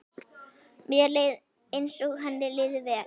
Mér leið eins og henni liði vel.